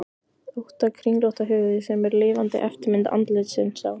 ótta kringlótta höfuð sem er lifandi eftirmynd andlitsins á